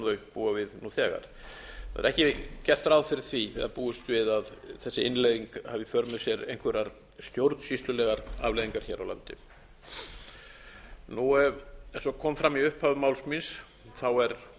búa við nú þegar það er ekki búist við að þessi innleiðing hafi í för með sér einhverjar stjórnsýslulegar afleiðingar hér á landi eins og kom fram í upphafi máls míns